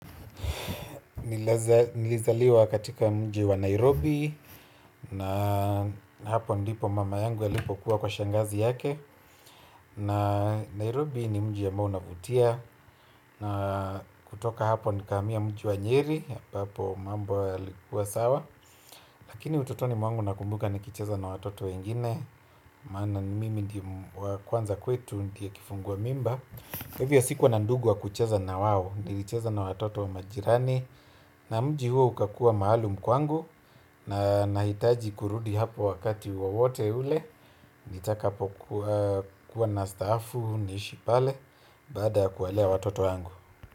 Nilizaliwa katika mji wa Nairobi. Na hapo ndipo mama yangu alipokuwa kwa shangazi yake. Na Nairobi ni mji ambao unavutia. Na kutoka hapo nikahamia mji wa Nyeri hapo mambo yalikuwa sawa. Lakini utotoni mwangu nakumbuka nikicheza na watoto wengine. Maana mimi ndiye wa kwanza kwetu ndiye kifungua mimba kwa hivyo sikuwa na ndugu wa kucheza nao nilicheza na watoto wa majirani. Na mji huo ukakuwa maalum kwangu nahitaji kurudi hapo wakati wowote ule. Nitakapo kuwa na staafu niishi pale baada ya kuwalea watoto wangu.